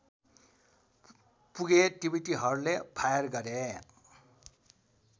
पुगे तिब्बतीहरूले फायर गरे